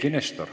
Eiki Nestor.